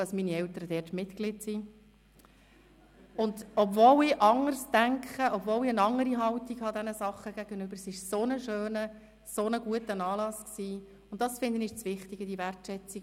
Und jetzt danke ich noch einmal allen Gästen, allen, die gekommen sind, für die Wertschätzung und die Ehrerbietung den drei Regierungsräten gegenüber, die so viel von ihrer Zeit, von ihrem Leben für den Kanton Bern eingesetzt haben, die in den letzten, vielen Jahren so viel bewirkt haben.